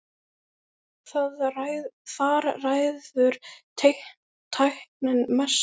Þar ræður tæknin mestu.